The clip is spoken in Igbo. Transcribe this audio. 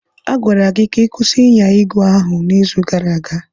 A gwara gị ka ị kwụsị ịnya ígwè ahụ n'izu gara aga!